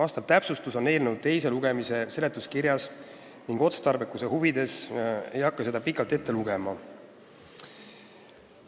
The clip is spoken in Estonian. See on kirjas eelnõu teise lugemise seletuskirjas ning otstarbekuse huvides ei hakka ma seda praegu ette lugema.